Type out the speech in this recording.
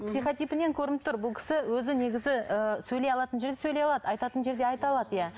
психотипінен көрініп тұр бұл кісі өзі негізі ы сөйлей алатын жерде сөйлей алады айтатын жерде айта алады иә